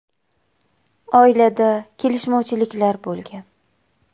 Oilada kelishmovchiliklar bo‘lgan.